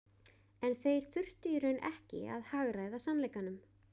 En þeir þurftu í raun ekki að hagræða sannleikanum.